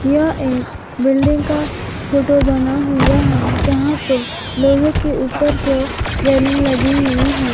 यह एक बिल्डिंग का फोटो बना हुआ है जहां पे लोहे के ऊपर की ओर रेलिंग लगी हुई है।